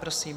Prosím.